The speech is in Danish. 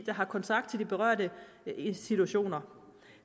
der har kontakt til de berørte institutioner